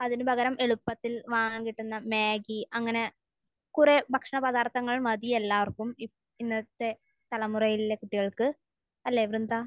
അതിന് പകരം എളുപ്പത്തിൽ വാങ്ങാൻ കിട്ടുന്ന മാഗ്ഗി അങ്ങനെ കുറേ ഭക്ഷണപദാർത്ഥങ്ങൾ മതി എല്ലാവർക്കും. ഇന്നത്തെ തലമുറയിലെ കുട്ടികൾക്ക്. അല്ലെ വൃന്ദ?